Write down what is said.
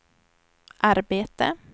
arbete